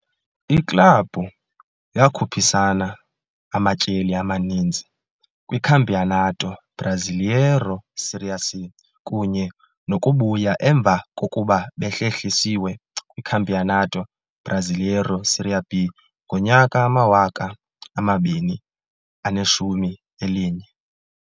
Iklabhu yakhuphisana amatyeli amaninzi kwiCampeonato Brasileiro Série C kunye nokubuya emva kokuba behlehlisiwe kwiCampeonato Brasileiro Série B ngo-2011.